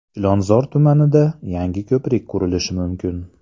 Chilonzor tumanida yangi ko‘prik qurilishi mumkin.